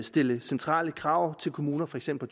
stille centrale krav til kommunerne for eksempel